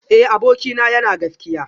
Eh abokina yana gaskiya